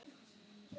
Svo mikið veit